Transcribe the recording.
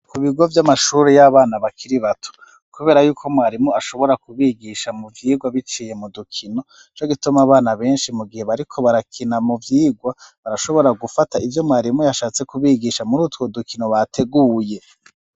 Ku bigo vy'amashure y'abana bakiri bato. Kubera y'uko mwarimu ashobora kubigisha mu vyigwa biciye mu dukino, ni co gituma abana benshi mu gihe bariko barakina mu vyigwa, barashobora gufata ivyo mwarimu yashatse kubigisha muri utwo dukino bateguye.